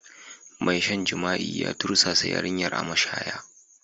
Mai shan jima'i ya tursasa yarinyar a mashaya.